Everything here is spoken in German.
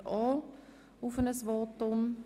Sie verzichtet ebenfalls auf ein Votum.